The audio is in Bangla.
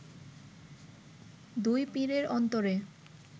দুই পীরের অন্তরে